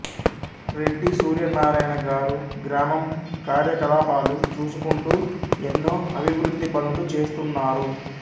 రెద్ది సుర్యనారాయణ గారు గ్రామం కర్యకల్పలు చుసుకూంత్ ఎన్నొ అబివ్రుధి పనులు చెస్తున్నరు